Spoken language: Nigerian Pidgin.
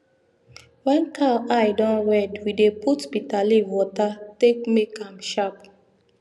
wen cow eye don red we dey put bitterleaf water take make am sharp